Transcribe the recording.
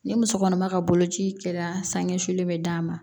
Ni muso kɔnɔma ka boloci kɛra sansuli bɛ d'a ma